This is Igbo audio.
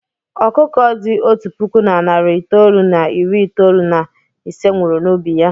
Ọkụkọ dị otu puku na narị itoolu na iri itoolu na ise nwụrụ n'ubi ya.